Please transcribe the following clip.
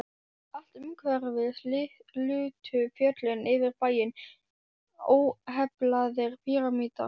Allt umhverfis lutu fjöllin yfir bæinn, óheflaðir pýramídar.